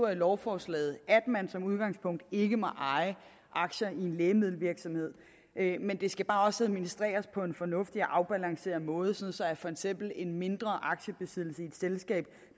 i lovforslaget at man som udgangspunkt ikke må eje aktier i en lægemiddelvirksomhed men det skal bare også administreres på en fornuftig og afbalanceret måde sådan at for eksempel en mindre aktiebesiddelse i et selskab